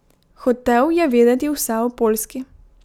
Hotel je vedeti vse o Poljski.